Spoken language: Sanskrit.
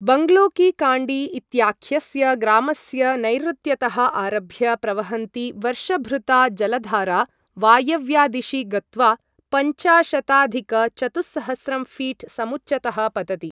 बङ्गलो की काण्डी इत्याख्यस्य ग्रामस्य नैऋत्यतः आरभ्य प्रवहन्ती वर्षभृता जलधारा वायव्यादिशि गत्वा पञ्चाशताधिकचतुस्सहस्रं फीट् समुच्चतः पतति